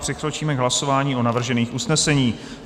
Přikročíme k hlasování o navržených usneseních.